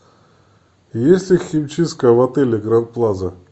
есть ли химчистка в отеле гранд плаза